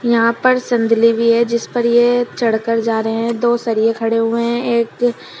यहाँ पर संदली भी है जिस पर ये चढ़कर जा रहे हैं दो सरिए खडे हुए हैं एक--